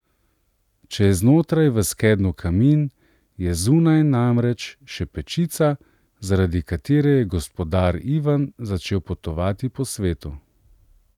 Če je znotraj v skednju kamin, je zunaj, namreč, še pečica, zaradi katere je gospodar Ivan začel potovati po svetu.